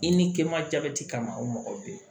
I ni ke ma jabɛti kama o mɔgɔ bɛ yen